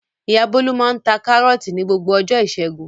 Ìyá Bólú máa ń ta Kárọ́tì ní gbogbo ọjọ́ ìṣẹ́gun.